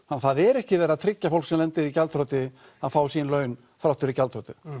það er ekki verið að tryggja að fólk sem lendir í gjaldþroti fái sín laun þrátt fyrir gjaldþrotið